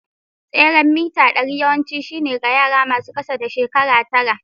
Tseren mita ɗari yawanci shine ga yara masu ƙasa da shekaru tara.